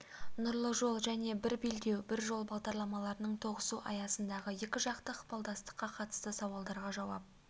нұрлы жол және бір белдеу бір жол бағдарламаларының тоғысу аясындағы екіжақты ықпалдастыққа қатысты сауалдарға жауап